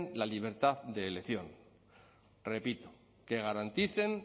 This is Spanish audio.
la libertad de elección repito que garanticen